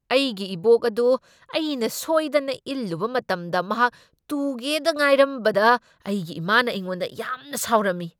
ꯑꯩꯒꯤ ꯏꯕꯣꯛ ꯑꯗꯨ ꯑꯩꯅ ꯁꯣꯢꯗꯅ ꯏꯜꯂꯨꯕ ꯃꯇꯝꯗ ꯃꯍꯥꯛ ꯇꯨꯒꯦꯗ ꯉꯥꯢꯔꯝꯕꯗ ꯑꯩꯒꯤ ꯏꯃꯥꯅ ꯑꯩꯉꯣꯟꯗ ꯌꯥꯝꯅ ꯁꯥꯎꯔꯝꯃꯤ꯫